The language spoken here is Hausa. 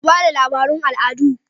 Ku ba da labarun al'adu!